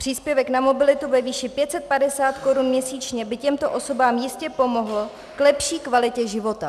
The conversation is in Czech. Příspěvek na mobilitu ve výši 550 korun měsíčně by těmto osobám jistě pomohl k lepší kvalitě života.